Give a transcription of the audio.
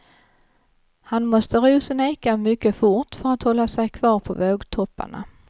Han måste ro sin eka mycket fort för att hålla sig kvar på vågtopparna.